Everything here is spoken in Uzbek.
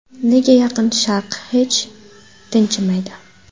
Nega Yaqin Sharq hech tinchimaydi?